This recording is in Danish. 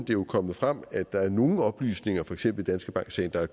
jo er kommet frem at der er nogle oplysninger for eksempel i danske bank sagen der er